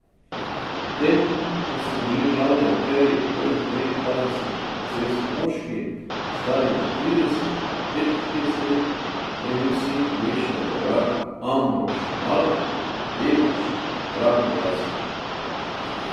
Medtem ko so bili glavni akterji prvih treh kazenskih procesov moški, stari med trideset in petintrideset let, je bil sin pogrešanega vojaka Ambrož Malek mladenič na pragu dvajsetih.